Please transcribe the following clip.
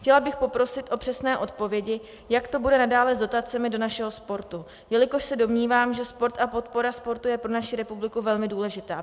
Chtěla bych poprosit o přesné odpovědi, jak to bude nadále s dotacemi do našeho sportu, jelikož se domnívám, že sport a podpora sportu je pro naši republiku velmi důležitá.